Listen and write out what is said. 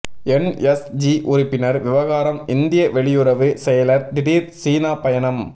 NSG உறுப்பினர் விவகாரம் இந்திய வெளியுறவு செயலர் திடீர் சீனா பயணம்